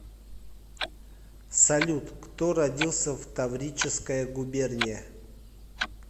салют кто родился в таврическая губерния